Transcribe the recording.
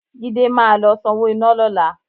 Jídé máa lọ sanwó iná lọ́la